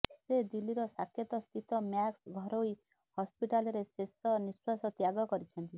ସେ ଦିଲ୍ଲୀର ସାକେତ ସ୍ଥିତ ମ୍ୟାକ୍ସ ଘରୋଇ ହସ୍ପିଟାଲରେ ଶେଷ ନିଃଶ୍ବାସ ତ୍ୟାଗ କରିଛନ୍ତି